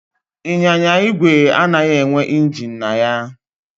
Ịnyịnya ígwè anaghị enwe injin na ha